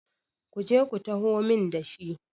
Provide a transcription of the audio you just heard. ku je ku taho min da shi!